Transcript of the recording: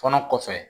Kɔnɔ kɔfɛ